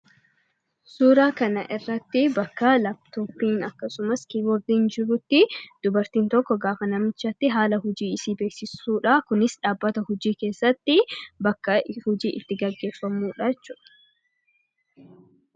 Suuraa kanarratti bakka laaptooppiin akkasumas kiiboordiin jirutti dubartiin tokko gaafa namichatti haala hojiishee beeksiftudha. Kunis dhaabbata hojii keessatti bakka hojiin itti gaggeeffamudha jechuudha.